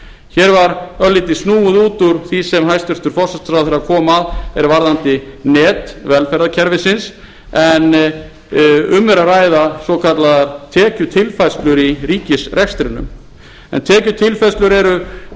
hér var örlítið snúið út úr því sem hæstvirtur forsætisráðherra kom að varðandi net velferðarkerfisins en um er að ræða svokallaðar tekjutilfærslur í ríkisrekstrinum tekjutilfærslur eru greiðslur frá